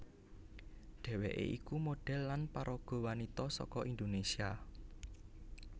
Dhèwèké iku modhèl lan paraga wanita saka Indonésia